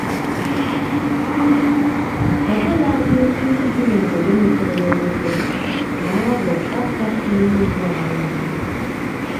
ọbụladị ndị bi n'obodo mepere emepe na-arọ ọka si n'ugbo anyị ányá